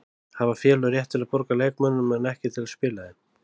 Hafa félög rétt til að borga leikmönnum en ekki til að spila þeim?